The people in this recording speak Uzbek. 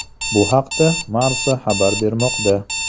Bu haqda Marca xabar bermoqda .